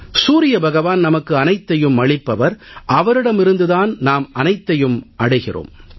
சூரிய பகவான் நமக்கு அனைத்தையும் அளிப்பவர் அவரிடமிருந்து தான் நாம் அனைத்தையும் அடைகிறோம்